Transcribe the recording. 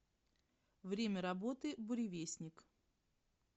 время работы буревестник